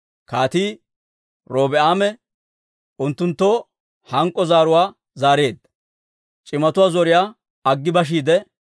Kaatii Robi'aame unttunttoo hank'k'o zaaruwaa zaareedda. C'imatuwaa zoriyaa aggi bashiide,